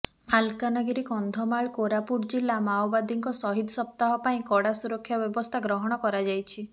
ମାଲକାନଗିରି କନ୍ଧମାଳ କୋରାପୁଟ ଜିଲ୍ଲା ମାଓବାଦୀଙ୍କ ସହିଦ ସପ୍ତାହ ପାଇଁ କଡ଼ା ସୁରକ୍ଷା ବ୍ୟବସ୍ଥା ଗ୍ରହଣ କରାଯାଇଛି